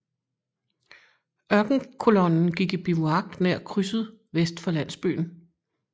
Ørkenkolonnen gik i bivuak nær krydset vest for landsbyen